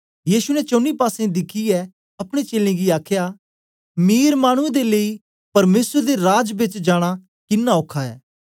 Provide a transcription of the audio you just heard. यीशु ने चौनी पासें दिखियै अपने चेलें गी आखया मीर मानुऐ दे लेई परमेसर दे राज बेच जाना किन्ना औखा ऐ